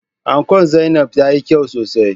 Ankon Zainabs tayi kyau sosai.